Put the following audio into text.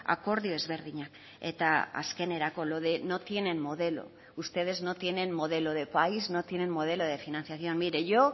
akordio ezberdinak eta azkenerako lo de no tienen modelo ustedes no tienen modelo de país no tienen modelo de financiación mire yo